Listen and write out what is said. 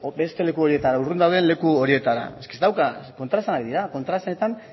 beste leku horietara urrun dauden leku horietara ez dauka kontraesanak dira kontraesanetan